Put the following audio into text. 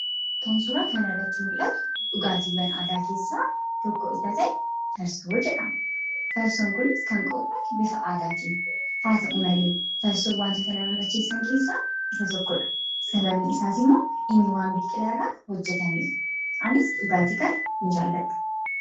Kan suuraa kana irratti mul'atu, dhugaatii mala aadaa keessaa tokko isa ta'e farsoodha jedhama. Farsoon Kunis kan qophaa'u bifa aadaatiin, haa ta'u malee farsoon waantota nama macheessan keessaa isa tokkodha, sababbiin isaas immoo inni waan biqila irraa hojjetameef, anis dhugaatii kana hin jaalladhu.